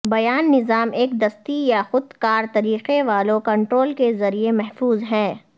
بیان نظام ایک دستی یا خود کار طریقے والو کنٹرول کے ذریعے محفوظ ہے